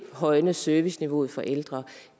at højne serviceniveauet for ældre